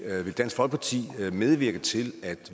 vil dansk folkeparti medvirke til at